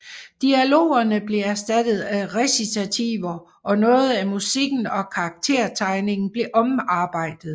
Dialogerne blev erstattet af recitativer og noget af musikken og karaktertegningen blev omarbejdet